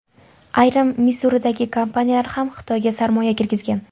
Ayrim Missuridagi kompaniyalar ham Xitoyga sarmoya kirgizgan.